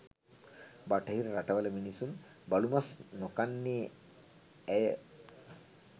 බටහිර රටවල මිනිසුන් බලු මස් නොකන්නේ ඇය?